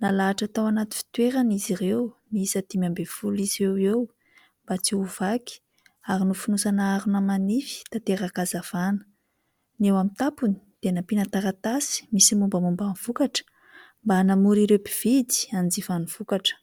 Nalahatra tao anaty fitoerany izy ireo, miisa dimy ambin'ny folo isa eo eo mba tsy ho vaky ary nofonosana harona manify tanteraka hazavana. Ny eo amin'ny tampony dia nampiana taratasy misy ny mombamomba ny vokatra, mba hanamora ireo mpividy izay hanjifa ny vokatra.